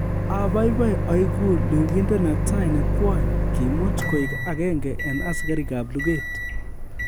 Abaibai oigu lugindet netai ne kwony kiimut koik agenge en asikarikab luget